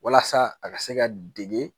Walasa a ka se ka dege